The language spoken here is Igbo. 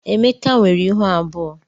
Emeka nwere ịhụ abụọ.